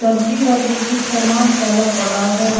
धरती पर भी कुछ सामान फैला पड़ा है।